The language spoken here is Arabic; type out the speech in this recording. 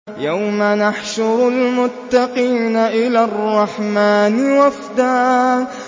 يَوْمَ نَحْشُرُ الْمُتَّقِينَ إِلَى الرَّحْمَٰنِ وَفْدًا